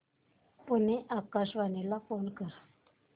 पुणे आकाशवाणीला फोन कर